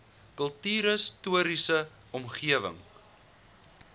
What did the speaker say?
kultuurhis toriese omgewing